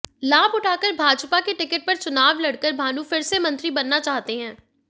लाभ उठाकर भाजपा की टिकट पर चुनाव लड़कर भानू फिर से मंत्री बनना चाहते हैं